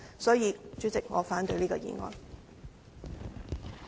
代理主席，我反對這項議案。